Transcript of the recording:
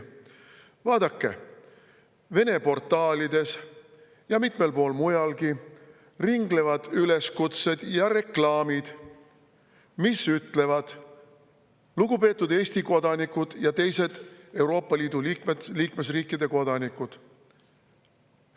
Vaadake, Vene portaalides ja mitmel pool mujalgi ringlevad üleskutsed ja reklaamid, mis ütlevad: "Lugupeetud Eesti kodanikud ja teised Euroopa Liidu liikmesriikide kodanikud!